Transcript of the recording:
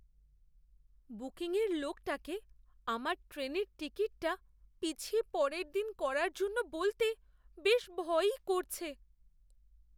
বুকিংয়ের লোকটাকে আমার ট্রেনের টিকিটটা পিছিয়ে পরের দিন করার জন্য বলতে বেশ ভয়ই করছে!